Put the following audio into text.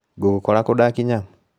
Ngũgũkora kũ ndakinya.